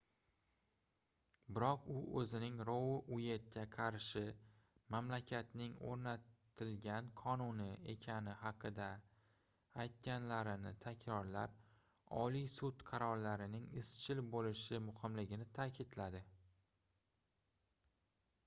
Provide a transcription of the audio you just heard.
biroq u oʻzining rou ueytga qarshi mamlakatning oʻrnatilgan qonuni ekani haqida aytganlarini takrorlab oliy sud qarorlarining izchil boʻlishi muhimligini taʼkidladi